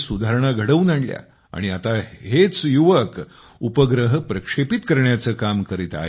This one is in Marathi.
मात्र देशाने अंतराळ क्षेत्रामध्ये सुधारणा घडवून आणल्या आणि आता युवकही उपग्रह प्रक्षेपित करण्याचे काम करीत आहेत